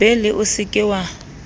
bele o se ke wa